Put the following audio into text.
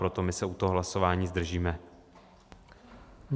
Proto my se u toho hlasování zdržíme.